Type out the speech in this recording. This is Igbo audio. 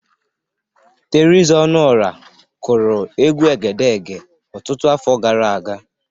Teriza Ọnụora kụrụ egwu Egedege ọtụtụ afọ grara aga.